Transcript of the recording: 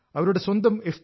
അവരുടെ സ്വന്തം എഫ്